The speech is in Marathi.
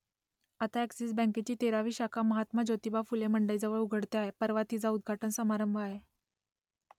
आता अ‍ॅक्सिस बँकेची तेरावी शाखा महात्मा ज्योतिबा फुले मंडईजवळ उघडते आहे परवा तिचा उद्घाटन समारंभ आहे